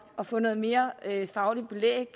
at få noget mere fagligt belæg